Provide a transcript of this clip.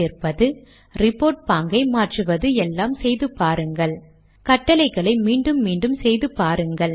உள்ளடக்கத்தை தயக்கமின்றி மாற்றி அமைத்து முயற்சித்து பாருங்கள்